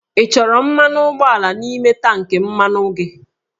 Ị chọrọ mmanụ ụgbọala n'ime tankị mmanụ gị?